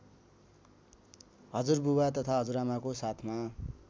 हुजुरबुवा तथा हजुरआमाको साथमा